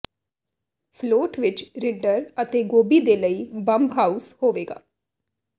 float ਵਿੱਚ ਰਿੰਡਰ ਅਤੇ ਗੋਭੀ ਦੇ ਲਈ ਬੰਬਹਾਊਸ ਹੋਵੇਗਾ